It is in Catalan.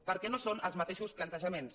perquè no són els mateixos plantejaments